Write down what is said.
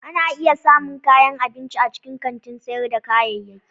Ana iya samun kayan abinci a cikin kantin sayar da kayayyaki.